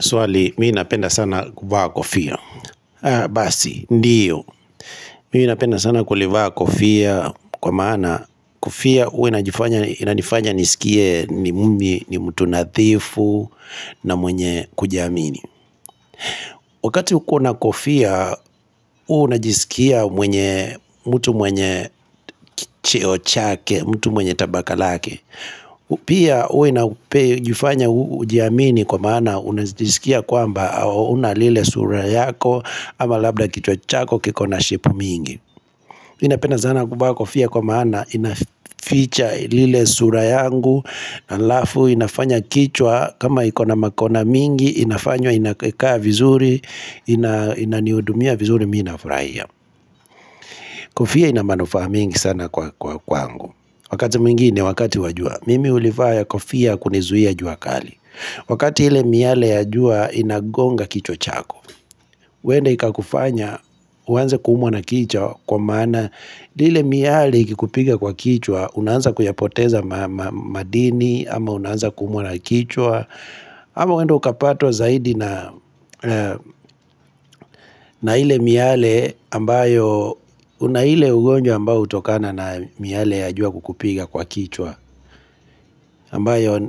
Swali, mimi napenda sana kuvaa kofia. Basi, ndio. Mimi ninapenda sana kulivaa kofia kwa maana kofia huwa inanifanya nisikie ni mimi ni mtu nadhifu na mwenye kujiamini. Wakati uko na kofia, huwa unajisikia mwenye mtu mwenye cheo chake, mtu mwenye tabaka lake. Pia uwe na upe jifanya ujiamini kwa maana unajisikia kwamba Una lile sura yako ama labda kichwa chako kiko na shepu mingi mimi napenda sana kuvaa kofia kwa maana inaficha lile sura yangu halafu inafanya kichwa kama ikona makona mingi Inafanywa inakaa vizuri inanihudumia vizuri minafurahia Kofia inamanufaa mingi sana kwa kwangu Wakati mwingine wakati wa jua Mimi hulivaa ya kofia kunizuia juakali Wakati ile miale ya jua inagonga kichwa chako huenda ikakufanya uanze kuumwa na kichwa kwa maana lile miale ikikupiga kwa kichwa unaanza kuyapoteza madini ama unaanza kuumwa na kichwa ama huenda ukapatwa zaidi na na ile miale ambayo Una ile ugonjwa ambayo hutokana na miale ya jua kukupiga kwa kichwa ambayo